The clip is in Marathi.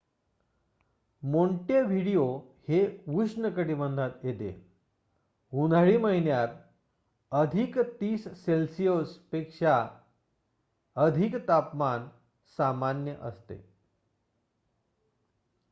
मोंटेव्हिडिओ हे उष्ण कटिबंधात येते उन्हाळी महिन्यात,+30°से. पेक्षा अधिक तापमान सामान्य असते